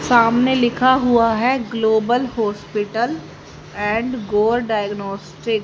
सामने लिखा हुआ है global hospital and go diagnostic.